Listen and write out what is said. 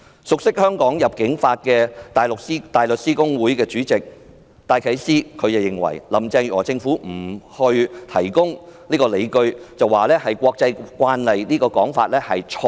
熟悉香港入境法的大律師公會主席戴啟思認為，林鄭月娥政府說不提供理據是國際慣例，這說法是錯的。